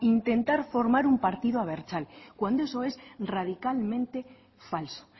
intentar formar un partido abertzale cuando eso es radicalmente falso